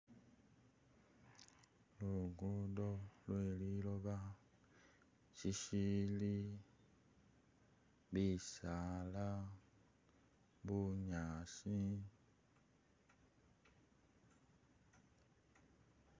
Lugudo lwe liloba shishiili bisaala bunyaasi